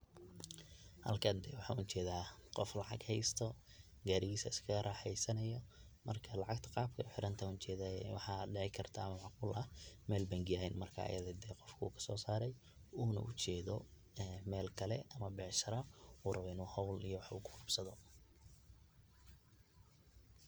Halkan waxan ujedaa qof lacag haysto, gaarigis iska raxeysanayo, marka lacagta qabkay u xirantahay ayan ujedaye waxa dhicikarta ama macqul ah mel bengi eh marka ayada eh qofku inu kasoo saare una ujeedo ee mel kale oo becshara una raba inu hol iyo wax ukuqabsado.